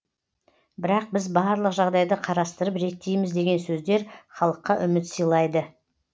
бірақ біз барлық жағдайды қарастырып реттейміз деген сөздер халыққа үміт сыйлайды